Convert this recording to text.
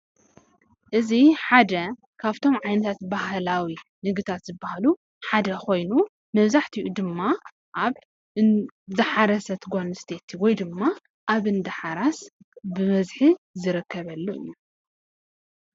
እዚ ሓደ ካብቶም ዓይነታት ባህላዊ ምግብታት ዝባሃሉ ሓደ ኮይኑ መብዛሕትኡ ድማ ኣብ ዝሓረሰት ጓል ኣንስተይቲ ወይ ድማ ኣብ እንዳሓራስ ዝርከበሉ እዩ፡፡